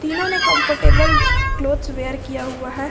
इन्होंने comfortable clothes wear किया हुआ है।